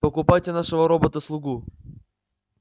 покупайте нашего робота-слугу